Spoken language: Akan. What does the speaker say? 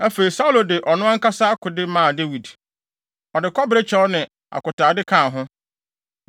Afei, Saulo de ɔno ankasa akode maa Dawid. Ɔde kɔbere kyɛw ne akotade kaa ho.